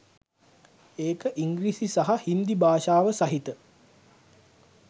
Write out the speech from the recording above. ඒක ඉංග්‍රීසි සහ හින්දි භාෂාව සහිත